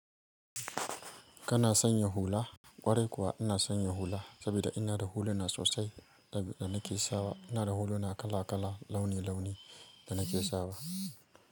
Kana sanya hula? Kwarai kuwa ina sanya hula, saboda ina da huluna sosai da nake sawa. Ina da huluna kala kala, launi launi da nake sawa.